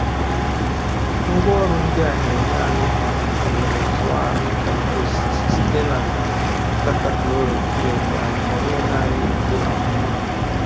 Ngwaọrụ ndị a na-enye anyị um ohere tụọ ahụike mkpụrụ osisi site na data chlorophyll, um ọ bụghị naanị ịkọ amụma.